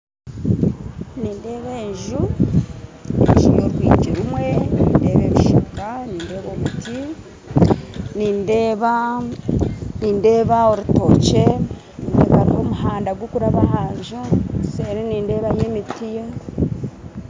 Nindeeba enju enju y'orwigi rumwe, nindeeba ebishaaka nindeba obuti, nindeeba nindeeba orutookye, hariho omuhanda gukuraba aha nju, seeri nindeebayo emiti